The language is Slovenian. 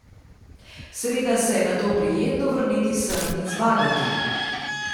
Seveda se je nato prijetno vrniti sem in zmagati.